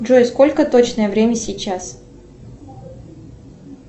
джой сколько точное время сейчас